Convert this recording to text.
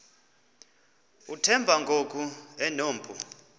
uthemba ngoku enompu